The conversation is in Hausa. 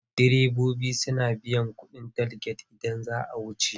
Direbobi suna biyan kuɗi a talget idan za a wuce.